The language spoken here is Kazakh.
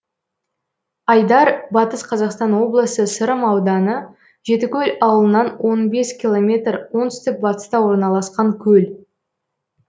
айдар батыс қазақстан облысы сырым ауданы жетікөл ауылынан он бес километр оңтүстік батыста орналасқан көл